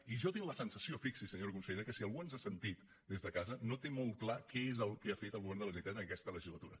i jo tinc la sensació fixi s’hi senyora consellera que si algú ens ha sentit des de casa no té molt clar què és el que ha fet el govern de la generalitat en aquesta legislatura